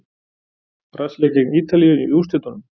Brasilía gegn Ítalíu í úrslitunum?